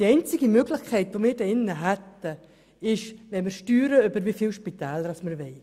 Die einzige Möglichkeit, die wir hätten, wäre eine Steuerung über die Anzahl Spitäler vorzunehmen.